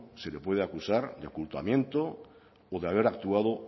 se le puede acusar de ocultamiento o de haber actuado